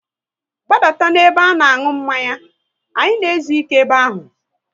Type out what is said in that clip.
Gbadata n'ebe a na aṅụ mmanya! Anyị na ezuike ebe ahụ